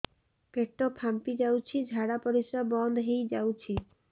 ପେଟ ଫାମ୍ପି ଯାଉଛି ଝାଡା ପରିଶ୍ରା ବନ୍ଦ ହେଇ ଯାଉଛି